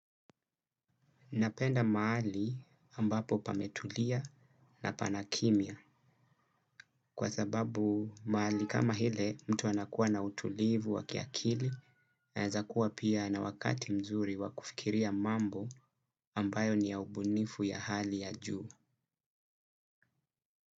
Napenda mahali ambapo pametulia na panakimya kwa sababu mahali kama ile mtu anakuwa na utulivu wa kiakili anaweza kuwa pia na wakati mzuri wa kufikiria mambo ambayo ni ya ubunifu ya hali ya juu.